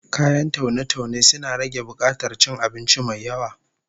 Kayan taune-taune suna rage bukatar cin abinci mai yawa